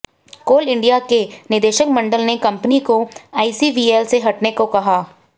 कोल India के निदेशक मंडल ने कंपनी को आईसीवीएल से हटने को कहा